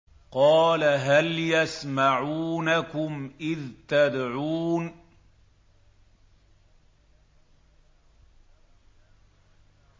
قَالَ هَلْ يَسْمَعُونَكُمْ إِذْ تَدْعُونَ